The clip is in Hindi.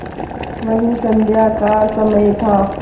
वही संध्या का समय था